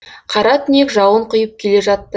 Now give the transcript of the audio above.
қара түнек жауын құйып келе жатты